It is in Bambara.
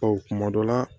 kuma dɔ la